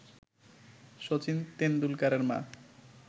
সাচিন তেন্ডুলকারের মা